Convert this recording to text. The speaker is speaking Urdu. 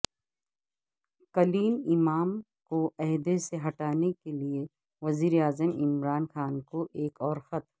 کلیم امام کوعہدے سے ہٹانے کے لیے وزیراعظم عمران خان کو ایک اور خط